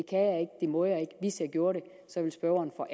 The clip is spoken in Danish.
må jeg ikke hvis jeg gjorde det ville spørgeren og